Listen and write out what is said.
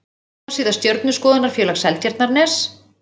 Heimasíða Stjörnuskoðunarfélag Seltjarnarness.